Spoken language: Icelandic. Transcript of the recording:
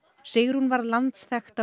Sigrún varð landsþekkt